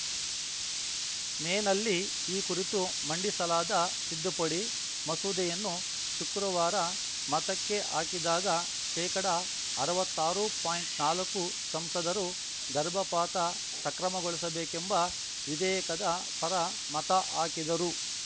ಮೇನಲ್ಲಿ ಈ ಕುರಿತು ಮಂಡಿಸಲಾದ ತಿದ್ದುಪಡಿ ಮಸೂದೆಯನ್ನು ಶುಕ್ರವಾರ ಮತಕ್ಕೆ ಹಾಕಿದಾಗ ಶೇಕಡಅರ್ವತ್ತಾರು ಪಾಯಿಂಟ್ನಾಲ್ಕು ಸಂಸದರು ಗರ್ಭಪಾತ ಸಕ್ರಮಗೊಳಿಸಬೇಕೆಂಬ ವಿಧೇಯಕದ ಪರ ಮತ ಹಾಕಿದರು